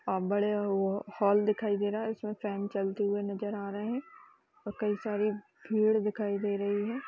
आ- बड़े ओ- हॉल दिखाई दे रहा है इसमें फैन चलते हुए नज़र आ रहे हैं और कई सारी भीड़ दिखाई दे रही हैं।